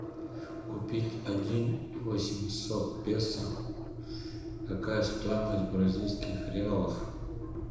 купить один восемьсот песо какая стоимость бразильских реалов